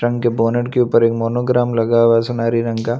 रंग के बोनट के ऊपर एक मोनोग्राम लगा हुआ है सुनारी रंग का।